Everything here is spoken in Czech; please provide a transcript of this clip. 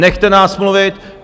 Nechte nás mluvit!